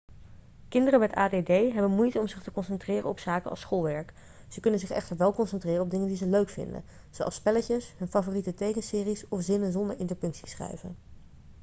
kinderen met add hebben moeite om zich te concentreren op zaken als schoolwerk ze kunnen zich echter wel concentreren op dingen die ze leuk vinden zoals spelletjes hun favoriete tekenseries of zinnen zonder interpunctie schrijven